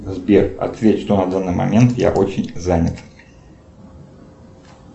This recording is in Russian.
сбер ответь что на данный момент я очень занят